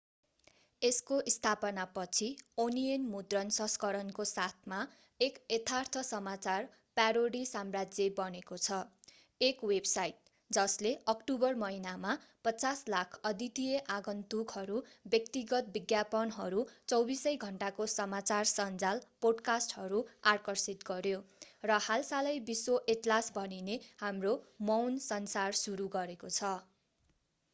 यसको स्थापना पछि ओनियन मुद्रण संस्करणको साथमा एक यथार्थ समाचार प्यारोडी साम्राज्य बनेको छ एक वेबसाइट जसले अक्टोबर महिनामा 5,000,000 अद्वितीय आगन्तुकहरू व्यक्तिगत विज्ञापनहरू 24 सै घण्टाको समाचार सञ्जाल पोडकास्टहरू आकर्षित गर्‍यो र हालसालै विश्व एटलास भनिने हाम्रो मौन संसार सुरु गरेको छ।